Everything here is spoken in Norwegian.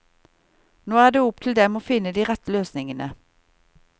Nå er det opp til dem å finne de rette løsningene.